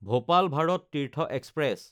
Bhopal Bharat Tirth express